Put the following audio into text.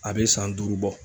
A bɛ san duuru bɔ.